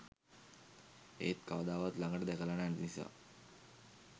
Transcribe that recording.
ඒත් කවදාවත් ලඟට දැකලා නැති නිසා